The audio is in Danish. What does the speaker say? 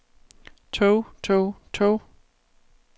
tog tog tog